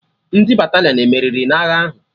Ndị Batalịọn emeriri agha ahụ?